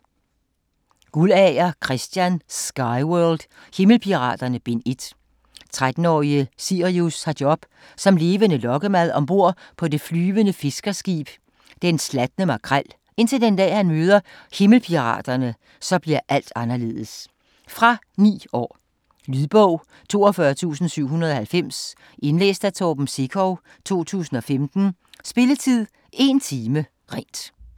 Guldager, Christian: Skyworld: Himmelpiraterne: Bind 1 13-årige Sirius har job som levende lokkemad om bord på det flyvende fiskerskib Den Slatne Makrel, indtil den dag han møder himmelpiraterne, så bliver alt anderledes. Fra 9 år. Lydbog 42790 Indlæst af Torben Sekov, 2015. Spilletid: 1 time, 0 minutter.